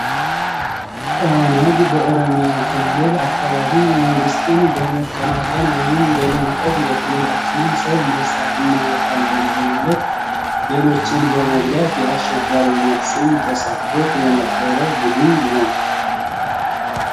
ኦ.ነ.ግ በኦሮሚያ ክልል አካባቢ መንግስትን በመቀናቀን ወይም በመንቀፍ የክልላችንን ሰው ነጻ እናወጣለን በማለት ሌሎችን በመጉዳት የአሸባሪነት ስም ተሰቶት የነበረ ቡድን ነው።